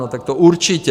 No tak to určitě!